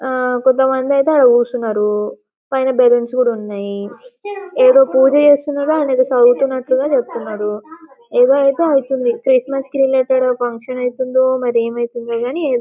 కొంతమంది అయితే ఆడ కూర్చున్నారు పైన బెలూన్స్ కూడా ఉన్నాయి ఏదో పూజ చేస్తున్నట్లు ఆయన చదువుతున్నట్లు చెబుతున్నాడు ఏదో అయితే అవుతుంది క్రిస్మస్ రిలేటెడ్ ఫంక్షన్ అయితుందో మరి ఏమవుతుందో కానీ --